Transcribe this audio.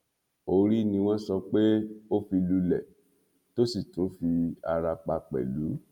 orí ni wọn sọ pé ó fi lulẹ tó sì tún fi ara pa pẹlú